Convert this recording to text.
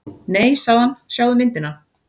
Nei sagði hann, sjáðu myndina.